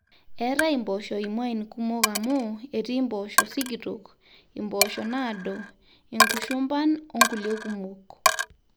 eetai impoosho imuain kumok amu etii impoosho sikitok, impoosho naado, inkushumban onkulie kumok